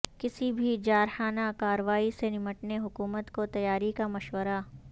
کسی بھی جارحانہ کارروائی سے نمٹنے حکومت کو تیاری کا مشورہ